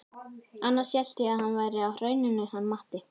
Annars hélt ég að hann væri á Hrauninu hann Matti.